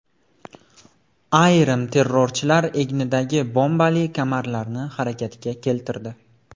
Ayrim terrorchilar egnidagi bombali kamarlarni harakatga keltirdi.